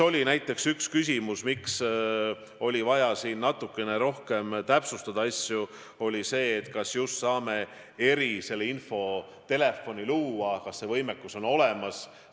Näiteks üks põhjus, miks oli vaja asju natuke rohkem täpsustada, oli küsimus, kas me saame eriinfotelefoni luua, kas see võimekus on olemas.